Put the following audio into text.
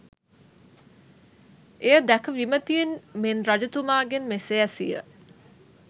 එය දැක විමතියෙන් මෙන් රජතුමාගෙන් මෙසේ ඇසීය